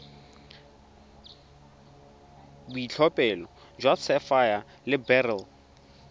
boitlhophelo jwa sapphire le beryl